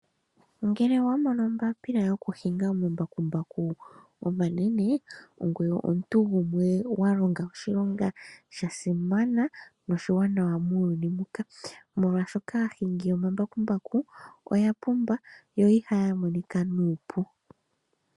Ngele owa mono ombaapila yokuhinga omambakumbaku omanene, ongoye omuntu gumwe wa longa oshilonga sha simana noshiwanawa muuyuuni muka. Molwashoka aahingi yomambakumbaku oya pumba yo iha ya monika nuupu.